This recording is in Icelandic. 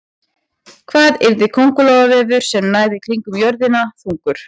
Hvað yrði köngulóarvefur sem næði kringum jörðina þungur?